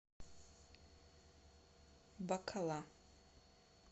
бакала